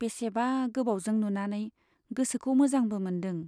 बेसेबा गोबावजों नुनानै गोसोखौ मोजांबो मोनदों।